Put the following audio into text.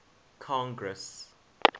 congress